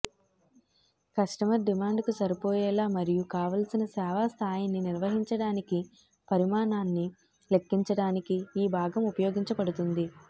customer డిమాండుకు సరిపోయేలా మరియు కావలసిన సేవా స్థాయిని నిర్వహించడానికి పరిమాణాన్ని లెక్కించడానికి ఈ భాగం ఉపయోగించబడుతుంది